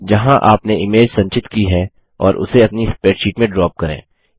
जहाँ आपने इमेज संचित की है और उसे अपनी स्प्रैडशीट में ड्रॉप करें